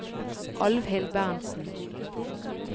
Alvhild Berntsen